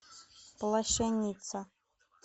плащеница